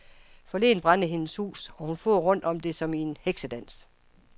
Forleden brændte hendes hus, og hun for rundt om det som i en heksedans.